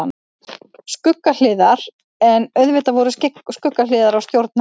Skuggahliðar En auðvitað voru skuggahliðar á stjórn hennar.